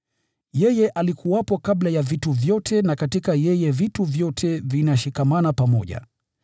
Yeye alikuwepo kabla ya vitu vyote, na katika yeye vitu vyote vinashikamana pamoja.